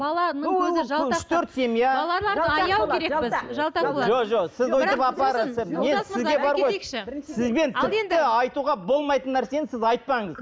сізбен тіпті айтуға болмайтын нәрсені сіз айтпаңыз